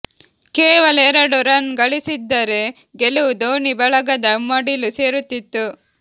ಕೇವಲ ಎರಡು ರನ್ ಗಳಿಸಿದ್ದರೆ ಗೆಲುವು ಧೋನಿ ಬಳಗದ ಮಡಿಲು ಸೇರುತ್ತಿತ್ತು